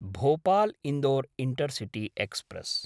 Bhopal-Indore intercity express